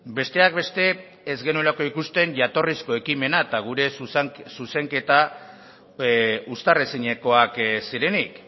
besteak beste ez genuelako ikusten jatorrizko ekimena eta gure zuzenketa uztar ezinekoak zirenik